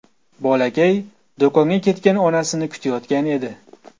Bolakay do‘konga ketgan onasini kutayotgan edi.